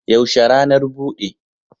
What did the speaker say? Yaushe ranar bude?